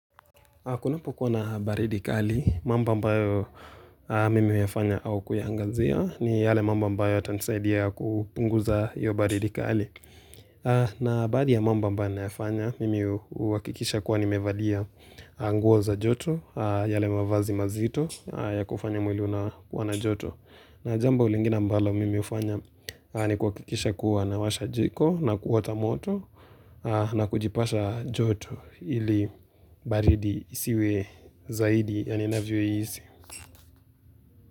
Kunapokuwa na baridi kali, mambo ambayo mimi huyafanya au kuyaangazia ni yale mambo ambayo yatanisaidia kupunguza hiyo baridi kali. Na baadhi ya mambo ambayo ninayafanya, mimi huakikisha kuwa nimevalia nguo za joto, yale mavazi mazito ya kufanya mwili unakuwa na joto. Na jambo lingine ambalo mimi hufanya ni kuhakikisha kuwa naw2washa jiko na kuota moto na kujipasha joto ili baridi isiwe zaidi ya ninavyohisi.